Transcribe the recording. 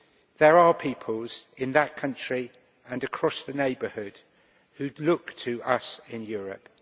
There are people in that country, and across the neighbourhood, who look to us in Europe.